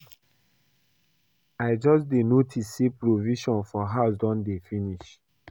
I just dey notice say provisions for house don dey finish